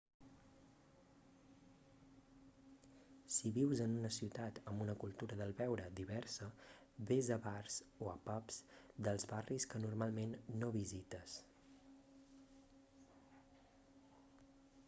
si vius en una ciutat amb una cultura del beure diversa vés a bars o a pubs dels barris que normalment no visites